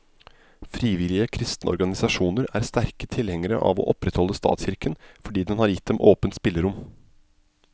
Frivillige kristne organisasjoner er sterke tilhengere av å opprettholde statskirken, fordi den har gitt dem åpent spillerom.